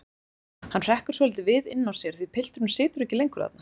Hann hrekkur svolítið við inná sér af því pilturinn situr ekki lengur þarna.